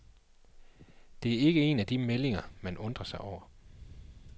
Det er ikke en af de meldinger, man undrer sig over.